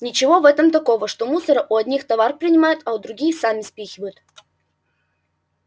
ничего в этом такого что мусора у одних товар принимают а другим сами спихивают